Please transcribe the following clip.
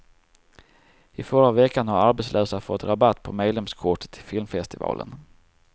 I förra veckan har arbetslösa fått rabatt på medlemskortet till filmfestivalen.